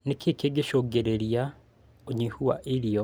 Nĩkĩĩ gĩcũngagĩrĩria ũnyihu wa irio?